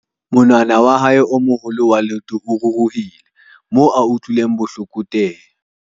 monwana wa hae o moholo wa leoto o ruruhile moo a utlwileng bohloko teng